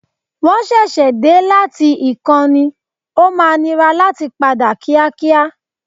Wọ́n ṣẹ̀ṣẹ̀ dé láti ìkan ní, o máa nira láti padà kíákíá.